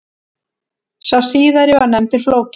Sá síðari var nefndur Flóki.